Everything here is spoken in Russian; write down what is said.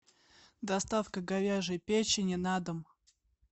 доставка говяжьей печени на дом